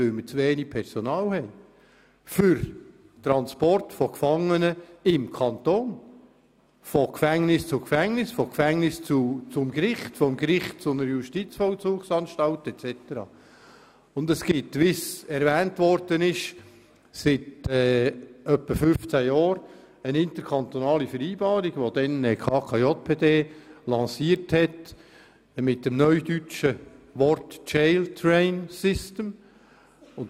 Dies, weil wir über zu wenig Personal verfügen für Transporte von Gefangenen im Kanton, von Gefängnis zu Gefängnis, vom Gefängnis zum Gericht, vom Gericht zu einer Justizvollzugsanstalt usw. Und es existiert, wie erwähnt wurde, seit etwa 15 Jahren eine interkantonale Vereinbarung, welche damals die KKJPD mit dem neudeutschen Namen Jail Train System lancierte.